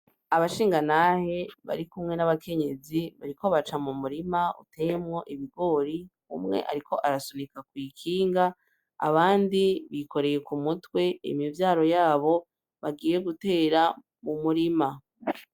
Abashingantahe barikumwe nabakenyezi bariko baca mumurima uteyemwo ibigori umwe ariko arasunika kwikinga abandi bikoreye kumutwe imivyaro yabo bagiye gutera mumurima.